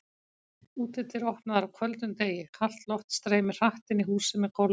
Útidyr opnaðar á köldum degi, kalt loft streymir hratt inn í húsið með gólfum.